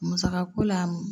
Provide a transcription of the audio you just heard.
Musakako la